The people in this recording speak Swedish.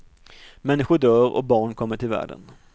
Människor dör och barn kommer till världen.